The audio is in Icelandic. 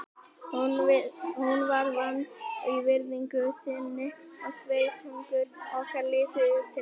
Hún var vönd að virðingu sinni og sveitungar okkar litu upp til hennar.